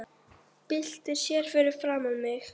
Byltir sér fyrir framan mig.